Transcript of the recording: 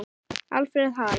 Alfreð Hall.